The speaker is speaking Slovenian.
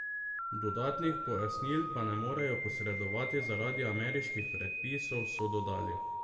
Dodatnih pojasnil pa ne morejo posredovati zaradi ameriških predpisov, so dodali.